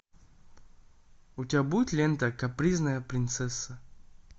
у тебя будет лента капризная принцесса